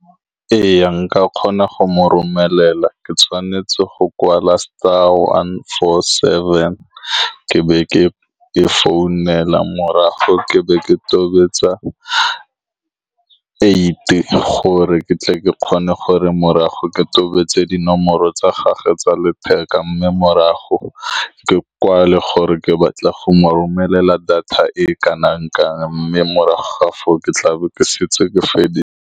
Ee, nka kgona go mo romelela. Ke tshwanetse go kwala one four seven, ke be ke e founela, morago ke be ke tobetsa eight gore ke tle ke kgone, morago ke tobetse dinomoro tsa gagwe tsa letheka, mme morago ke kwale gore ke batla go mo romelela data e e kanang-kang, mme morago foo ke tlabe ke setse ke feditse.